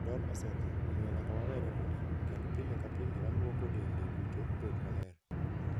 "Dol osetho, omiyo nyaka wawere kode, kendo pile ka pile walwoko dende duto obed maler.